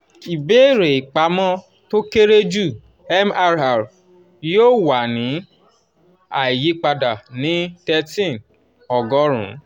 ibeere ipamọ to kere ju (mrr) yoo wa ni aiyipada ni thirteen ogorun.